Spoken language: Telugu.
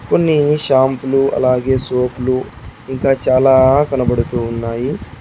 కొన్ని షాంపూలు అలాగే సోపు లు ఇంకా చాలా కనబడుతూ ఉన్నాయి.